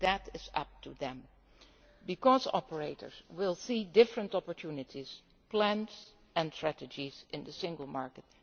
models. That is up to them, because operators will see different opportunities, plans and strategies in the single